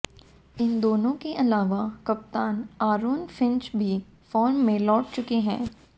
इन दोनों के अलावा कप्तान आरोन फिंच भी फॉर्म में लौट चुके हैं